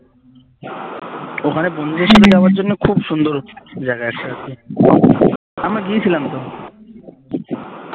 ওখানে বন্ধুদের সাথে যাবার জন্য খুব সুন্দর জায়গা একটা আছে আমরা গিয়েছিলাম তো